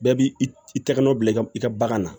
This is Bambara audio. Bɛɛ b'i i tɛgɛ nɔ bila i ka i ka bagan na